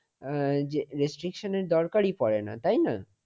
আহ restriction এর দরকারই পড়ে না তাই না।